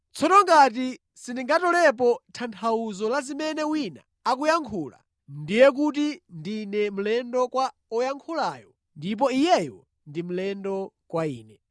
Tsono ngati sindingatolepo tanthauzo la zimene wina akuyankhula, ndiye kuti ndine mlendo kwa oyankhulayo ndipo iyeyo ndi mlendo kwa ine.